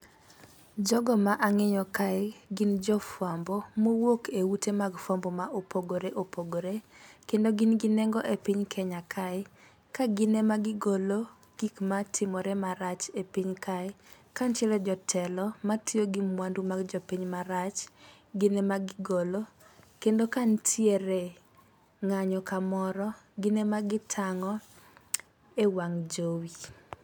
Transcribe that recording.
Jogo ma ang'eyo kae gin jofwambo mowuok e ute mag fwambo ma opogore opogore. Kendo gin gi nengo e piny kenya kae ka gin ema gigolo gik matimore marach e piny kae ka ntiere jotelo matiyo gi mwandu mag jopiny marach, gin ema gigolo kendo ka ntiere ng'anyo kamoro gine ma gitang'o e wang' jowi.